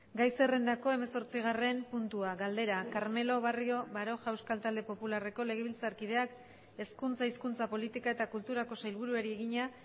gai zerrendako hemeretzigarren puntua galdera carmelo barrio baroja euskal talde popularreko legebiltzarkideak hezkuntza hizkuntza politika eta kulturako sailburuari egina